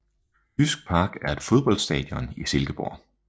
Jysk Park er et fodboldstadion i Silkeborg